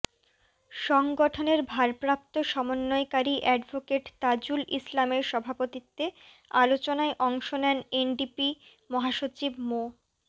সংগঠনের ভারপ্রাপ্ত সমন্বয়কারী অ্যাডভোকেট তাজুল ইসলামের সভাপতিত্বে আলোচনায় অংশ নেন এনডিপি মহাসচিব মো